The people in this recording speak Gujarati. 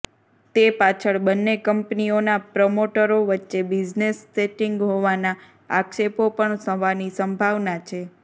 તે પાછળ બંને કંપનીઓનાં પ્રમોટરો વચ્ચે બિઝનેસ સેટીંગ હોવાના આક્ષેપો પણ થવાની સંભાવના છે